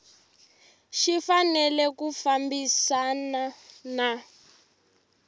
xi fanele ku fambisana na